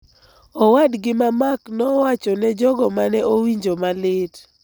owadgi ma Mark nowacho ne jogo ma ne owinjo malit.